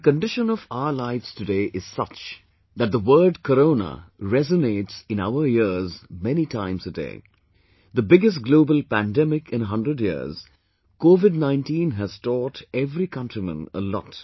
the condition of our lives today is such that the word Corona resonates in our ears many times a day... the biggest global pandemic in a hundred years, COVID19 has taught every countryman a lot